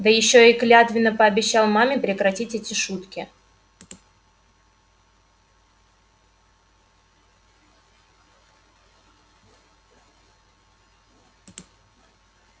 да ещё и клятвенно пообещал маме прекратить эти штуки